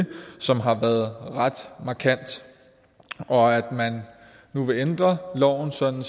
som har været ret markant og at man nu vil ændre loven sådan